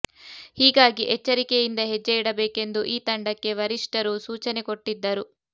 ಹೀಗಾಗಿ ಎಚ್ಚರಿಕೆಯಿಂದ ಹೆಜ್ಜೆ ಇಡಬೇಕೆಂದು ಈ ತಂಡಕ್ಕೆ ವರಿಷ್ಠರು ಸೂಚನೆ ಕೊಟ್ಟಿದ್ದರು